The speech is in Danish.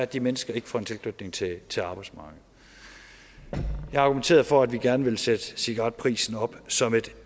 de mennesker ikke får en tilknytning til til arbejdsmarkedet jeg har argumenteret for at vi gerne vil sætte cigaretprisen op som et